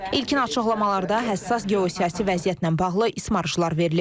İlkin açıqlamalarda həssas geosiyasi vəziyyətlə bağlı ismarışlar verilib.